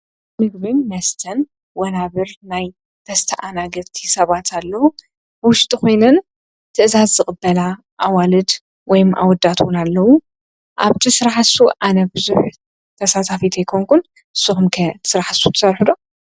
ምግብን መስተን ወናብር ናይ ተስኣናገድቲ ሰባት ኣለዉ ውሽጢ ኾይነን ትእዛዝ ዝቕበላ ኣዋልድ ወይም ኣወዳት ውን ኣለዉ ኣብቲ ስራሕ እሱ ኣነፍዙኅ ተሳታፊት ኣይኮንኩን ስኹምከ ዝስራሕ ንሱ ትሰርሕዶ?